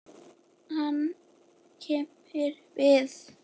Hann kímir við.